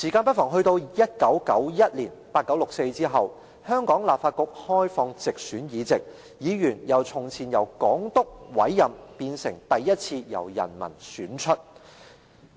到了1991年 ，1989 年六四事件後，香港立法局開放直選議席，議員由從前只由港督委任，變成第一次由人民選出。